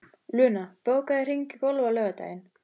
Luna, bókaðu hring í golf á laugardaginn.